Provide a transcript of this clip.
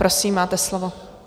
Prosím, máte slovo.